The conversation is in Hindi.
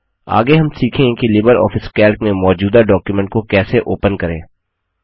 आगे हम सीखेंगे कि लिबर ऑफिस कैल्क में मौजूदा डॉक्युमेंट को कैसे ओपन करें